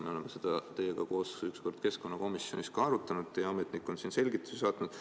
Me oleme seda teiega ühel korral keskkonnakomisjonis arutanud, teie ametnik on selgituse saatnud.